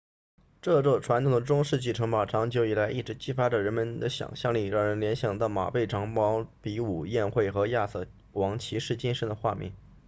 这座传统的中世纪城堡长久以来一直激发着人们的想象力让人联想到马背长矛比武宴会和亚瑟王骑士精神的画面